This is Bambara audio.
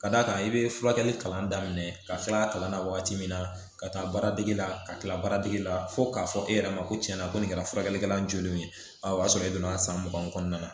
Ka d'a kan i bɛ furakɛli kalan daminɛ ka kila kalan na waati min na ka taa baaradege la ka tila baara dege la fo k'a fɔ e yɛrɛ ma ko tiɲɛna ko nin kɛra furakɛlikɛla jɔlen ye a y'a sɔrɔ e donna san mugan kɔnɔna na